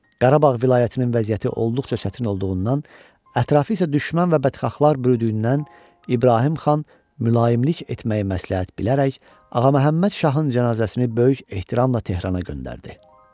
Qarabağ vilayətinin vəziyyəti olduqca çətin olduğundan, ətrafı isə düşmən və bədxahlar bürüyündüyündən İbrahim xan mülayimlik etməyi məsləhət bilərək Ağa Məhəmməd şahın cənazəsini böyük ehtiramla Tehrana göndərdi.